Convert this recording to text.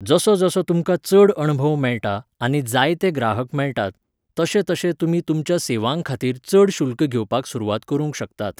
जसो जसो तुमकां चड अणभव मेळटा आनी जायते ग्राहक मेळटात, तशे तशे तुमी तुमच्या सेवां खातीर चड शुल्क घेवपाक सुरवात करूंक शकतात.